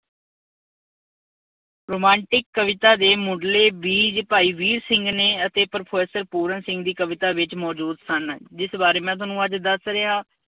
Romantic ਕਵਿਤਾ ਦੇ ਮੁੱਢਲੇ ਬੀਜ ਭਾਈ ਵੀਰ ਸਿੰਘ ਨੇ ਅਤੇ ਪ੍ਰੋਫੈਸਰ ਪੂਰਨ ਸਿੰਘ ਦੀ ਕਵਿਤਾ ਵਿੱਚ ਮੌਜੂਦ ਸਨ। ਜਿਸ ਬਾਰੇ ਮੈਂ ਤੁਹਾਨੂੰ ਅੱਜ ਦੱਸ ਰਿਹਾਂ।